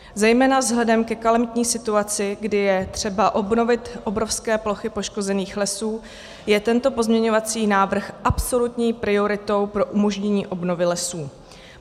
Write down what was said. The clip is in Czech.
Zejména vzhledem ke kalamitní situaci, kdy je třeba obnovit obrovské plochy poškozených lesů, je tento pozměňovací návrh absolutní prioritou pro umožnění obnovy lesů.